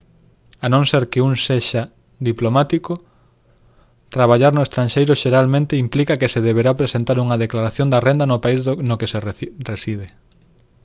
a non ser que un sexa diplomático traballar no estranxeiro xeralmente implica que se deberá presentar unha declaración da renda no país no que se reside